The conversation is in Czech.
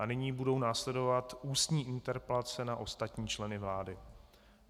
A nyní budou následovat ústní interpelace na ostatní členy vlády.